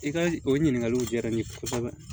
I ka o ɲininkaliw diyara n ye kosɛbɛ